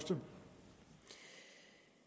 at